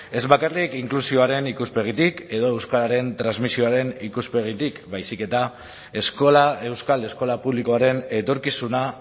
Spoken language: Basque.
ez bakarrik inklusioaren ikuspegitik edo euskararen transmisioaren ikuspegitik baizik eta eskola euskal eskola publikoaren etorkizuna